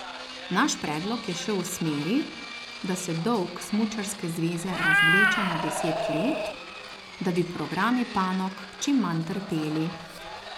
Naš predlog je šel v smeri, da se dolg smučarske zveze razvleče na deset let, da bi programi panog čim manj trpeli.